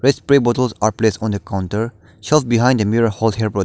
Waste spary bottles are place on the counter shelf behind the mirror --